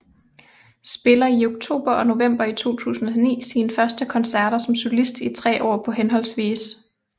Spiller i oktober og november 2009 sine første koncerter som solist i tre år på hhv